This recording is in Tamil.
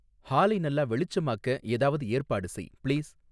ஹாலை நல்லா வெளிச்சமாக்க ஏதாவது ஏற்பாடு செய் பிளீஸ்